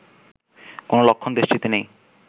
কোন লক্ষণ দেশটিতে নেই